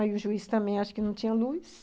Aí o juiz também acha que não tinha luz.